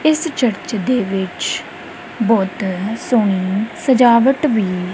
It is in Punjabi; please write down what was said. ਇੱਸ ਚਰਚ ਦੇ ਵਿੱਚ ਬਹੁਤ ਸੋਹਣੀ ਸਜਾਵਟ ਵੀ --